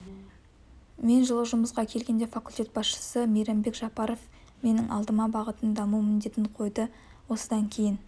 мен жылы жұмысқа келгенде факультет басшысы мейрамбек жапаров менің алдыма бағытын дамыту міндетін қойды осыдан кейін